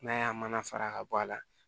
N'a y'a mana fara ka bɔ a la